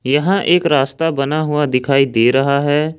यहां एक रास्ता बना हुआ दिखाई दे रहा है।